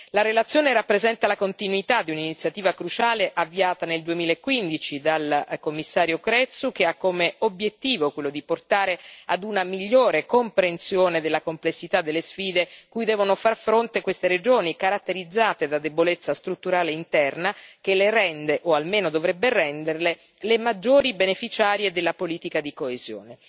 La relazione rappresenta la continuità di un'iniziativa cruciale, avviata nel 2015 dal Commissario Crețu, che ha come obiettivo quello di portare ad una migliore comprensione della complessità delle sfide cui devono far fronte queste regioni, caratterizzate da debolezza strutturale interna che le rende, o almeno dovrebbe renderle, le maggiori beneficiarie della politica di coesione.